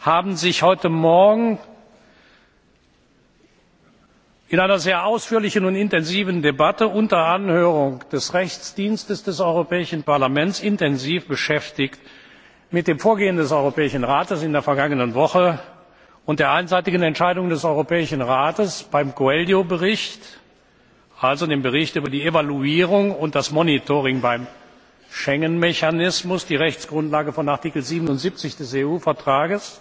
hat sich heute Morgen in einer sehr ausführlichen und intensiven Debatte unter Anhörung des juristischen Dienstes des Europäischen Parlaments intensiv beschäftigt mit dem Vorgehen des Europäischen Rates in der vergangenen Woche und der einseitigen Entscheidung des Europäischen Rates, beim Coelho Bericht, also dem Bericht über die Evaluierung und das Monitoring beim Schengen Mechanismus, die Rechtsgrundlage von Artikel 77 des EU Vertrags,